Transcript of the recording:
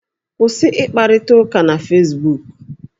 Kwụsị ịkparịta ụka na fesbuku!